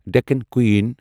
Deccan کوٗیٖن